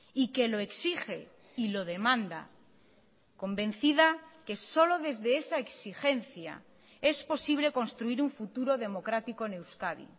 y que lo exige y lo demanda convencida que solo desde esa exigencia es posible construir un futuro democrático en euskadi